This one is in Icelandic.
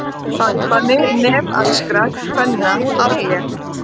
Farbanni nepalskra kvenna aflétt